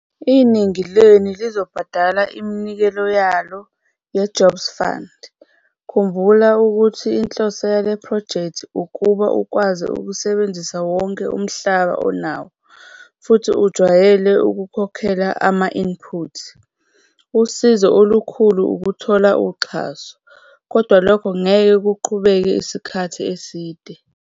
Iningi lenu lizobhadala iminikelo yalo yeJobs Fund - khumbula ukuthi inhloso yalephrojekthi ukuba ukwazi ukusebenzisa wonke umhlaba onawo futhi ujwayele ukukhokhela ama-inputs. Usizo olukhulu ukuthola uxhaso, kodwa lokho ngeke kuqhubeke isikhathi eside.